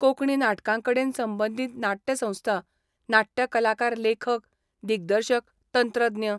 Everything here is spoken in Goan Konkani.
कोकणी नाटकांकडेन संबंधित नाटय संस्था, नाटय कलाकार लेखक, दिग्दर्शक, तंत्रज्ञ.